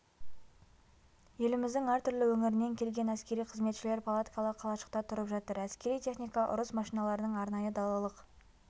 еліміздің әртүрлі өңірінен келген әскери қызметшілер палаткалы қалашықта тұрып жатыр әскери техника ұрыс машиналарының арнайы далалық